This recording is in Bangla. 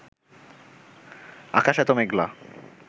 আকাশ এত মেঘলা